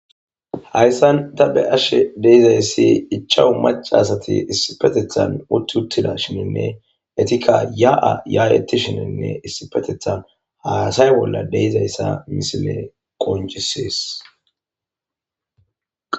Hayssan ta be ashe deizayssi ichawu maca asati issipetethan utti uttida shininne etikka ya'a yaadetishininne issipetethan haasay bolla deizayssa misile qoncisees.